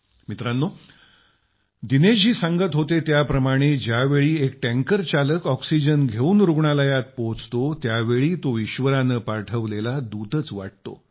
मित्रांनो दिनेश जी सांगत होते त्याप्रमाणं ज्यावेळी एक टँकर चालक ऑक्सिजन घेऊन रूग्णालयामध्ये पोहोचतो त्यावेळी तो ईश्वरानं पाठवलेला दूतच वाटतो